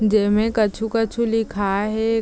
जेमे कुछु -कुछु लिखाए हे ।